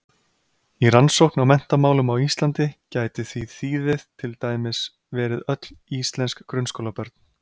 Í rannsókn á menntamálum á Íslandi gæti því þýðið til dæmis verið öll íslensk grunnskólabörn.